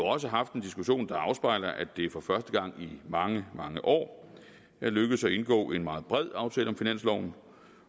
også har haft en diskussion der afspejler at det for første gang i mange mange år er lykkedes at indgå en meget bred aftale om finansloven